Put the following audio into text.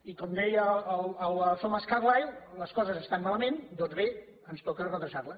i com deia thomas carlyle les coses estan malament doncs bé ens toca redreçar les